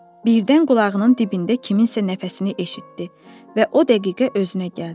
Birdən qulağının dibində kiminsə nəfəsini eşitdi və o dəqiqə özünə gəldi.